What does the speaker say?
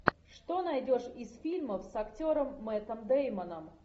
что найдешь из фильмов с актером мэттом дэймоном